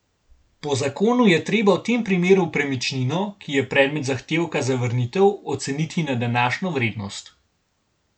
Po zakonu je treba v tem primeru premičnino, ki je predmet zahtevka za vrnitev, oceniti na današnjo vrednost.